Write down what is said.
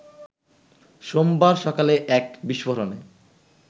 সোমবার সকালে এক বিস্ফোরণে